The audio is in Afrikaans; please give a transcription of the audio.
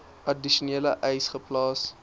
addisionele eise geplaas